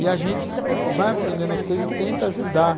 E a gente vai aprendendo as coisas e tenta ajudar.